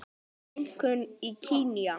Þeir finnast einkum í Kenía.